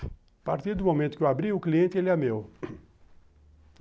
A partir do momento que eu abri, o cliente, ele é meu